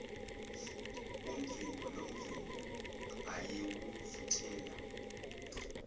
umvimbo nomvimbo ayewuvuthela